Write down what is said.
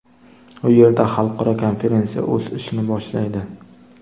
U yerda xalqaro konferensiya o‘z ishini boshlaydi.